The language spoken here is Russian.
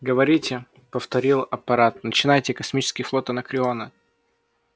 говорите повторил апорат начинайте космический флот анакреона